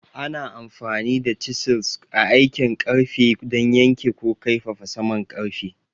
Ana amfani da chisels a aikin ƙarfe don yanke ko kaifafa saman ƙarfe.